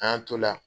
An y'an t'o la